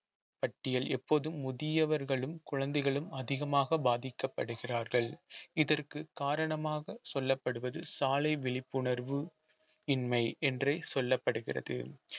பட்டியல் எப்போதும் முதியவர்களும் குழந்தைகளும் அதிகமாக பாதிக்கப்படுகிறார்கள் இதற்கு காரணமாக சொல்லப்படுவது சாலை விழிப்புணர்வு இன்மை என்றே சொல்லப்படுகிறது